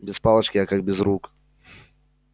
без палочки я как без рук